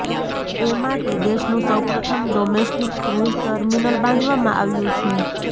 એ માટે દેશનું સૌપ્રથમ ડોમેસ્ટિક ક્રૂઝ ટર્મિનલ બાંધવામાં આવ્યું છે